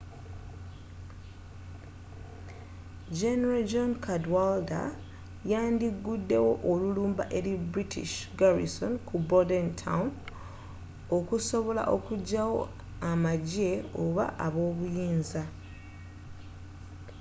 general john cadwalder yandi guddewo olulumba eri british garrison kubordentown okusobola okugyawo amagyeoba ab'obuyinza